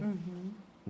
Uhum.